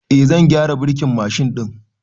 Eh, zan gyara birkin Mashin ɗin